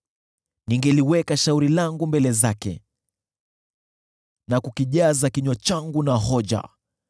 Ningeliweka shauri langu mbele zake, na kukijaza kinywa changu na hoja.